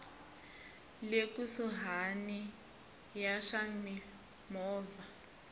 le kusuhani ya swa mimovha